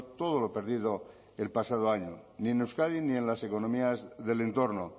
todo lo perdido el pasado año ni en euskadi ni en las economías del entorno